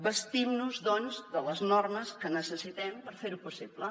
bastim nos doncs de les normes que necessitem per fer ho possible